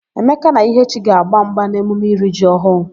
Emeka na Ihechi ga-agba mgba n'emume iri ji ọhụụ.